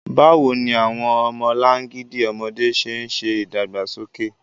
Báwo ni àwọn ọmọlangidi ọmọdé ṣe ń ṣe ìdàgbàsókè?